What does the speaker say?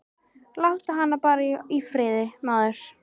Láttu hana bara í friði, maður.